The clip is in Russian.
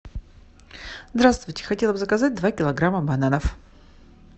здравствуйте хотела бы заказать два килограмма бананов